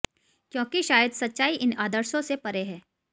क्योंकि शायद सच्चाई इन आदर्शों से परे है